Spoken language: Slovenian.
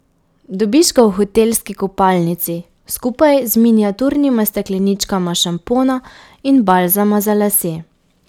Dobiš ga v hotelski kopalnici, skupaj z miniaturnima stekleničkama šampona in balzama za lase.